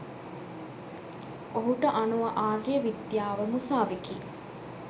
ඔහුට අනුව ආර්ය විද්යාව මුසාවෙකි.